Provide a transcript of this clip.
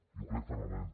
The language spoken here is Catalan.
i ho crec fermament